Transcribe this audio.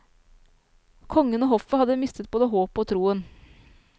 Kongen og hoffet hadde mistet både håpet og troen.